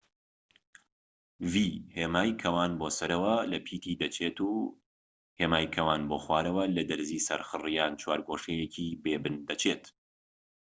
هێمای کەوان بۆ سەرەوە لە پیتی v دەچێت و هێمای کەوان بۆ خوارەوە لە دەرزی سەرخڕ یان چوارگۆشەیەکی بێ بن دەچێت